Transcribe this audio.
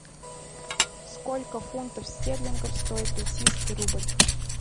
сколько фунтов стерлингов стоит российский рубль